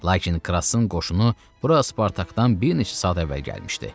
Lakin Krasın qoşunu bura Spartakdan bir neçə saat əvvəl gəlmişdi.